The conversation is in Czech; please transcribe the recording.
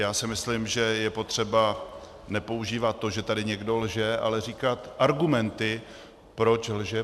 Já si myslím, že je potřeba nepoužívat to, že tady někdo lže, ale říkat argumenty, proč lže.